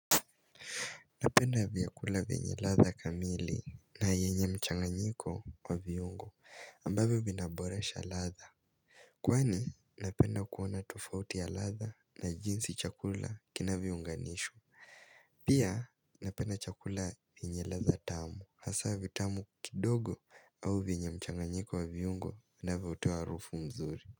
Napenda vyakula vyenye ladha kamili na yenye mchanganyiko wa viungo ambavyo vinaborasha ladha Kwani napenda kuona tufauti ya latha na jinsi chakula kinavyounganishwa Pia napenda chakula yenye ladha tamu hasa vitamu kidogo au vyenyemchanganyiko wa viungo vinavyotoa harufu nzuri.